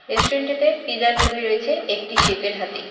রেস্টুরেন্টটিতে পিজার ছবি রয়েছে একটি সেফের হাতে।